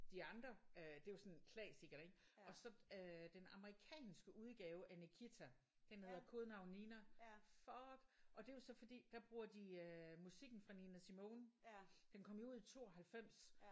De andre øh det er jo sådan klassikere ik og så øh den amerikanske udgave af Nikita den hedder Kodenavn Nina fuck og det er jo så fordi der bruger de øh musikken fra Nina Simone den kom jo ud i 92